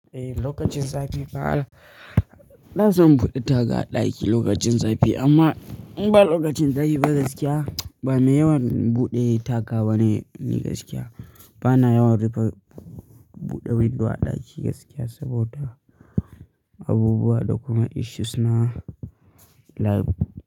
Eh lokacin zafi ba na son buɗe tag a ɗaki lokacin zafi amma in ba lokacin zafi ba gaskiya, ba mai yawan buɗe tag bane ni gaskiya. Bana yawan rufe buɗe window a ɗaki gaskiya saboda abubuwa da kuma issues na lab.